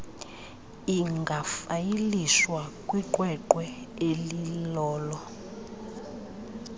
ingafayilishwa kwiqweqwe elilolo